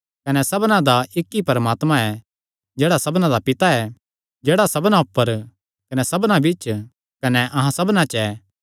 कने सबना दा इक्क ई परमात्मा ऐ जेह्ड़ा सबना दा पिता ऐ जेह्ड़ा सबना ऊपर कने सबना बिच्च कने अहां सबना च ऐ